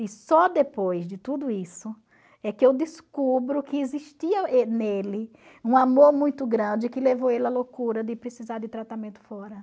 E só depois de tudo isso é que eu descubro que existia nele um amor muito grande que levou ele à loucura de precisar de tratamento fora.